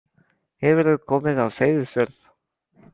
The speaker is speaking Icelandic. Hefurðu komið á Seyðisfjörð?